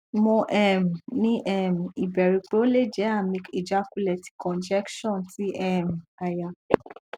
mo um ni um iberu pe ole je ami ijakunle ti congestion ti um aya